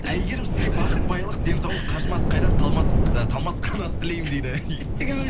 әйгерім сізге бақыт байлық денсаулық қажымас қайрат ы талмас қанат тілеймін дейді